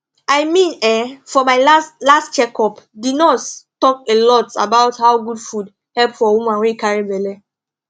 i mean[um]for my last last check up the nurse talk a lot about how good food help for woman wey carry belle